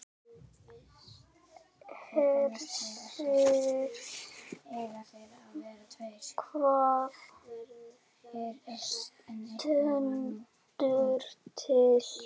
Hersir, hvað stendur til?